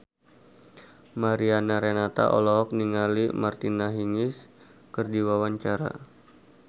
Mariana Renata olohok ningali Martina Hingis keur diwawancara